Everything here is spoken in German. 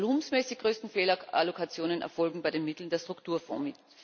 Die volumenmäßig größten Fehlallokationen erfolgen bei den Mitteln der Strukturfonds.